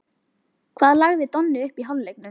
Hvað lagði Donni upp í hálfleiknum?